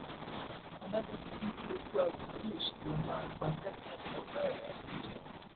adájọ ti ní kí olú àgùnlóye ṣì lọọ máa gbatẹgùn lọgbà ẹwọn kújẹ